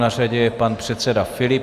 Na řadě je pan předseda Filip.